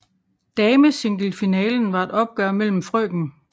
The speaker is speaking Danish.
Damesinglefinalen var et opgør mellem frk